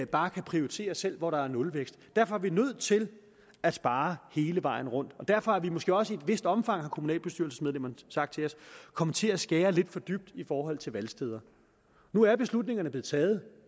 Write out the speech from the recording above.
bare kan prioritere selv hvor der er nulvækst derfor er vi nødt til at spare hele vejen rundt og derfor er vi måske også i et vist omfang har kommunalbestyrelsesmedlemmerne sagt til os kommet til at skære lidt for dybt i forhold til valgsteder nu er beslutningerne blevet taget